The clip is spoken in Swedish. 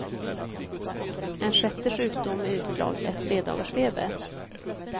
En sjätte sjukdom med utslag är tredagarsfeber.